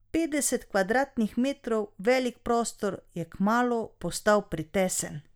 Petdeset kvadratnih metrov velik prostor je kmalu postal pretesen.